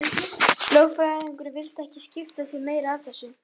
Lögfræðingurinn vildi ekki skipta sér meira af þessu.